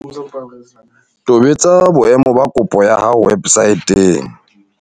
Tobetsa boemo ba kopo ya hao websaeteng.